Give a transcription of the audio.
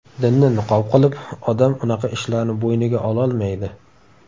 Dinni niqob qilib, odam unaqa ishlarni bo‘yniga ololmaydi.